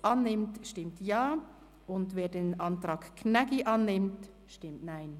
annimmt, stimmt Ja, wer den Antrag Gnägi annimmt, stimmt Nein.